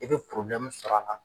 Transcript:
I bɛ sɔrɔ la